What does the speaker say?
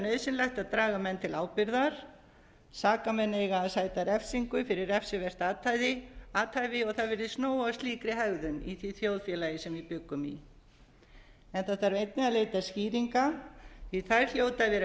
nauðsynlegt að draga menn til ábyrgðar sakamenn eiga að sæta refsingu fyrir refsivert athæfi og það virðist nóg af slíkri hegðun í því þjóðfélagi sem við bjuggum í það þarf einnig að leita skýringa því að þær hljóta að